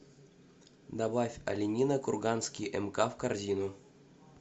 добавь оленина курганский мк в корзину